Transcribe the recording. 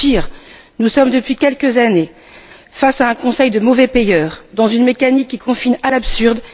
Pire, nous sommes depuis quelques années face à un Conseil de mauvais payeurs, dans une mécanique qui confine à l'absurde.